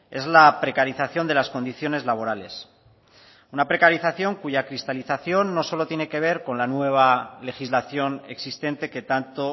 es la precarización de las condiciones laborales una precarización cuya cristalización no solo tiene que ver con la nueva legislación existente que tanto